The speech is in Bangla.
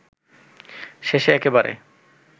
শেষে একেবারে